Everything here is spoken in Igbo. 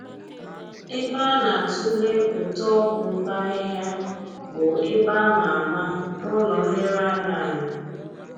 Ebe a na-atule ụtọ ọgwụ mkpa ahịhịa bụ ebe a ma ama n'ụlọ nlereanya anyị